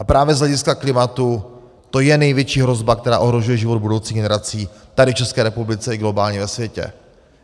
A právě z hlediska klimatu to je největší hrozba, která ohrožuje život budoucích generací tady v ČR i globálně ve světě.